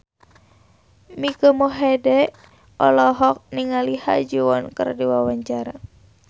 Mike Mohede olohok ningali Ha Ji Won keur diwawancara